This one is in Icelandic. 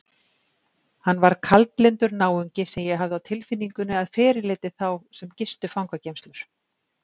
Hann var kaldlyndur náungi sem ég hafði á tilfinningunni að fyrirliti þá sem gistu fangageymslur.